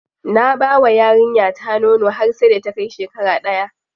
Na bawa yarinya ta nono har sai da ta kai shekara daya.